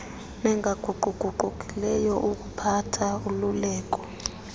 nengaguquguqukiyo yokuphatha ululeko